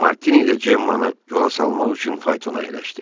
Martini də Cemmanı yola salmaq üçün faytona əyləşdi.